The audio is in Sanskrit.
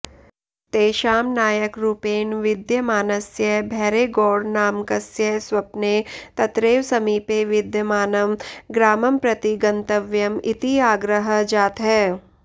तेषां नायकरूपेण विद्यमानस्य भैरेगौडनामकस्य स्वप्ने तत्रैव समीपे विद्यमानं ग्रामं प्रति गन्तव्यम् इति आग्रहः जातः